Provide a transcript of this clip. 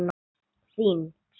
Þín, Fjóla.